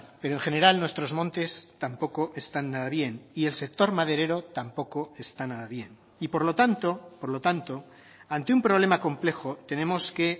pero en general nuestros montes tampoco están nada bien y el sector maderero tampoco está nada bien y por lo tanto por lo tanto ante un problema complejo tenemos que